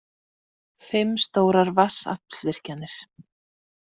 Fimm stórar vatnsaflsvirkjanir.